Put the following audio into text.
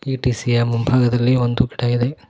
ಈ ಟಿ_ಸಿ ಯ ಮುಂಭಾಗದಲ್ಲಿ ಒಂದು ಗಿಡ ಇದೆ.